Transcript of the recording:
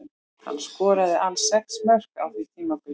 Hann skoraði alls sex mörk á því tímabili.